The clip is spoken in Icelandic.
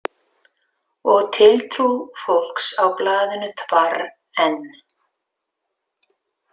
Og tiltrú fólks á blaðinu þvarr enn.